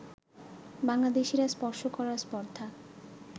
বাংলাদেশিদের স্পর্শ করার স্পর্ধা